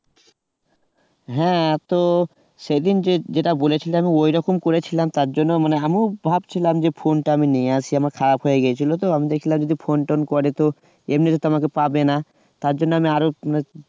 হ্যাঁ আর তো সেদিন যে যেটা বলেছিলাম ওরকম করেছিলাম তার জন্য মানে আমিও ভাবছিলাম phone টা আমি নিয়ে আসি আমার খারাপ হয়ে গিয়েছিল তো আমি দেখলাম যে phone টোন করো তো এমনিতে তো আমাকে পাবেনা তার জন্য আমি আরো